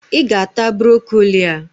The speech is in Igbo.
I ga-ata Brokoli a!